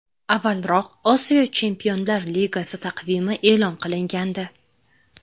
Avvalroq Osiyo Chempionlar Ligasi taqvimi e’lon qilingandi .